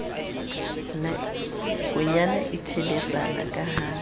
nakonyana e teletsana ke ha